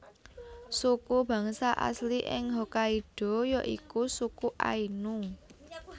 Suku bangsa asli ing Hokkaido ya iku suku Ainu